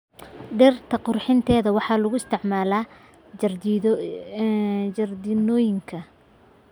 Dhirta qurxinta waxaa lagu isticmaalaa jardiinooyinka.